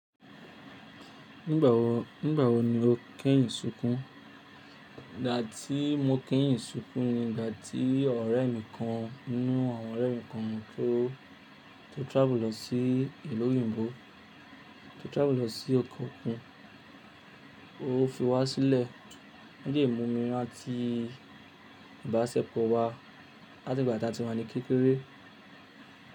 Nígbà wo, nígbà wo ni o kẹ́yìn sunkún? Ìgbà tí mo kẹ́yìn sunkún ni ìgbà tí ọ̀rẹ́ mi kan nínú àwọn ọ̀rẹ́ mi kan tó, tó travel lọ sí ìlú òyìnbó, tó travel lọ sí ọ̀kọ̀ọ̀kan. O fi wá sílẹ̀ nídi ìmumi láti ìbáṣepọ̀ wa láti ìgbà tí a ti wà ní kékeré.